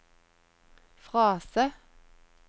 frase